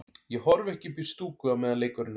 Ég horfi ekki upp í stúku á meðan leikurinn er.